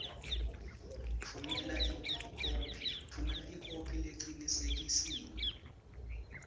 tfumela ikhophi lecinisekisiwe